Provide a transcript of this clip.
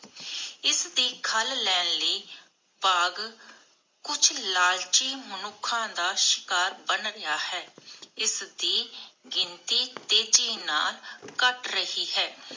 ਇਸਦੀ ਖੱਲ ਲੈਣ ਲਈ ਬਾਘ ਕੁਛ ਲਾਲਚੀ ਮਨੁੱਖਾ ਦਾ ਸ਼ਿਕਾਰ ਬਣ ਗਯਾ ਹੈ ਇਸਦੀ ਗਿਣਤੀ ਤੇਜ਼ੀ ਨਾਲ ਘਟ ਰਹੀ ਹੈ